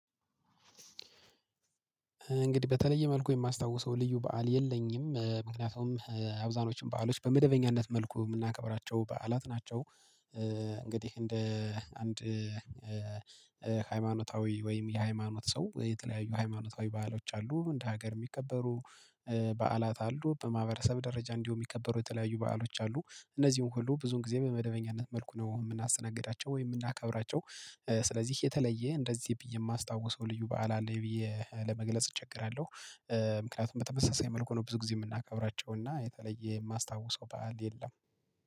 እንግዲህ በተለየ መልኩ የማስታውሰው ልዩ በዓል የለኝም ምክንያቱም አብዛኞችም በዓሎች በመደበኛነት መልኩ የምናከብራቸው በዓላት ናቸው። እንግዲህ እንደ አንድ ሃይማኖታዊ ወይም የሃይማኖት ሰው የተለያዩ ሃይማኖታዊ በዓሎች አሉ እንደ ሀገር የሚከበሩ በዓላት አሉ። በማህበረሰብ ደረጃ እንዲሁ የሚከበሩ የተለያዩ በዓሎች አሉ እነዚህን ሁሉ ብዙን ጊዜ በመደበኛነት መልኩ ነው የምናሰናግዳቸው ወይ የምናከብራቸው? ስለዚህ የተለየ እንደዚህ ብዬ የማስታውሰው ልዩ በዓል አለኝ ብዬ ለመግለጽ እቸገራለሁ። ምክንያቱም በተመሳሳይ መልኩ ነው ብዙ ጊዜ የምናከብራቸው እና የተለየ የማስታውሰው ባዓል የለም